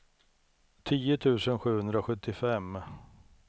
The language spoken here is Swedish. tio tusen sjuhundrasjuttiofem